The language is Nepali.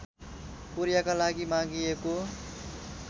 कोरियाका लागि मागिएको